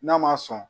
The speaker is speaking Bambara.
N'a ma sɔn